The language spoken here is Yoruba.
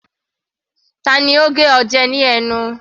Tani ó gé ọ jẹ ní ẹnu?